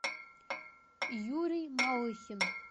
юрий малыхин